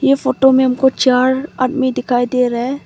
ये फोटो में हमको चार आदमी दिखाई दे रहा है।